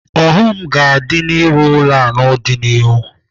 Ọghọm ga-adị n'ịrụ ụlọ n'ọdịnihu.